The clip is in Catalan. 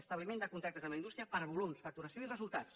establiment de contactes amb la indústria per volums facturació i resultats